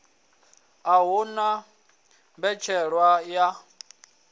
a hu na mbetshelwa ya